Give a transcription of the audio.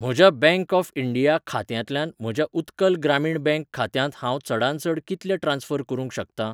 म्हज्या bank of India खात्यांतल्यान म्हज्या उत्कल ग्रामीण बँक खात्यांत हांव चडांत चड कितले ट्रान्स्फर करूंक शकतां?